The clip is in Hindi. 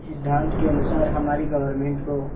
इस सिद्धांत के अनुसार हमारी गवर्नमेंट को